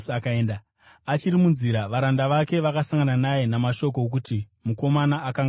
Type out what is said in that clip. Achiri munzira varanda vake vakasangana naye namashoko okuti mukomana akanga apora.